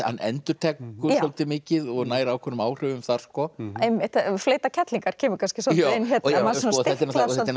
hann endurtekur svolítið mikið og nær ákveðnum áhrifum þar einmitt fleyta kerlingar kemur kannski svolítið inn hérna þetta er